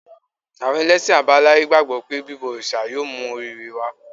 Àwọn ẹlẹ́sìn àbáláyé gbàgbọ́ pé bíbọ òrìṣà yóò mú orí-ire wá